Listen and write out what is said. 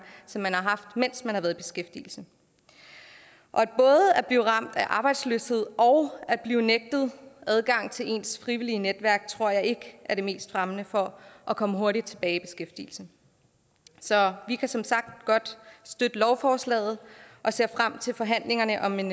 som man har haft mens man har været i beskæftigelse både at blive ramt af arbejdsløshed og at blive nægtet adgang til ens frivillige netværk tror jeg ikke er det mest fremmende for at komme hurtigt tilbage i beskæftigelse så vi kan som sagt godt støtte lovforslaget og ser frem til forhandlingerne om en